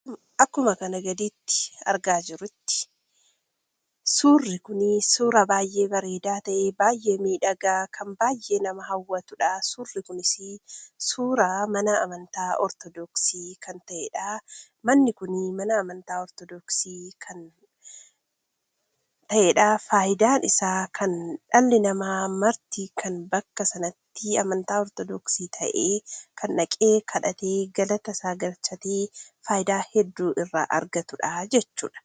Akkuma kan gaditti argaa jirrutti suurri kun suura baay'ee bareedaa ta'eef baay'ee miidhagaa kan baay'ee nama hawwatuudha. Suurri kunis suuraa mana amantaa ortodoksii kan ta'eedha. Manni kun mana amantaa ortodoksii kan ta'eedha. Faayidaan isaa kan dhalli namaa marti kan bakka sanatti amantaa ortodoksii ta'e kan dhaqee; kadhatee galata isaa galchatee faayidaa hedduu irraa argatuudha jechuudha.